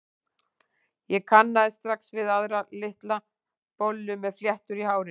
Ég kannaðist strax við aðra, litla bollu með fléttur í hárinu.